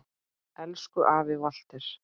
Elsku afi Walter.